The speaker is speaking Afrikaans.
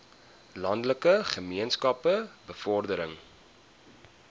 landelike gemeenskappe bevordering